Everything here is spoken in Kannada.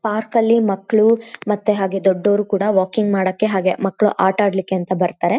ಪಾರ್ಕ್ ಅಲ್ಲಿ ಮಕ್ಕಳು ಮತ್ತೆ ಹಾಗೆ ದೊಡ್ಡವರು ಕೊಡ ವಾಕಿಂಗ್ ಮಾಡೋಕ್ಕೆ ಹಾಗೆ ಮಕ್ಕಳು ಆಟ ಆಡ್ಲಿಕ್ಕೆ ಅಂತ ಬರತ್ತಾರೆ.